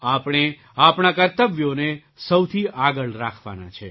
આપણે આપણાં કર્તવ્યોને સહુથી આગળ રાખવાનાં છે